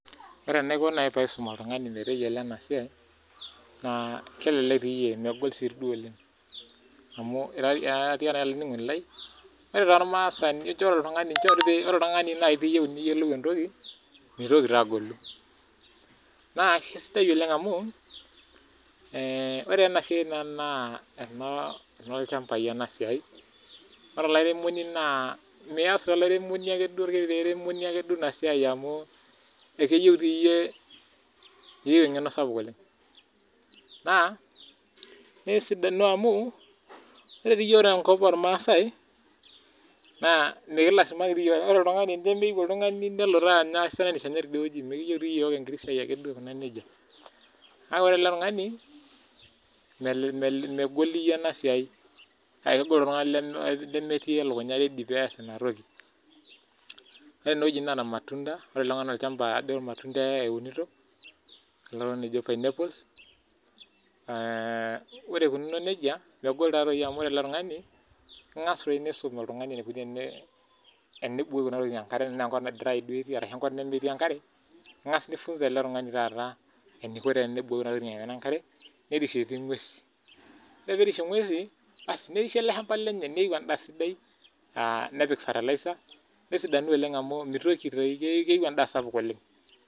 Ore naaji enaiko tenaisum oltung'ani metayiolo ena siai naa kelelek megol sii duo oleng amu ore ormasani ore oltung'ani pee eyieu niyiolou entoki mitoki agolu naa kisidai oleng amu ore enasiai naa enoo ilchambai ena siai ore olairemoni naa mias ake duo orkiti airemoni ake duo ena siai amu keyieu eng'eno sapuk oleng naa kesidanu amu ore tenkop ormaasai naa mikilasimaki ore oltung'ani tenemeyieu oltung'ani nelo kake ore ele tung'ani megol ena siai kake kegol too oltung'ani lemetii elukunya ready pee eas enayoki ore ena naa irmatunda eunito kulo ojo pineapple ore eikunono nejia amu ore ele tung'ani engay nisum enikoni tenibukoki enikoni tenebukokini enkare tenaa Kee nkop nemetii enkare eng'as nifunza ele tung'ani taata eniko tenebukoki Kuna tokitin enkare nerishie ng'uesi ore pee erishie ng'uesi niesho ele shamba[c]lenye neyieu endaa sidai nepiki fertilizer nesidanu oleng amu keyieu endaa sapuk oleng